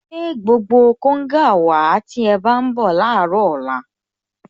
Gbé gbogbo konga wàá tí ẹ bá ń bọ̀ láàárọ̀ ọ̀la